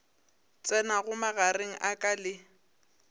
tsenago magareng a ka le